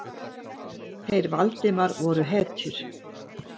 Þeir Valdimar voru hetjur.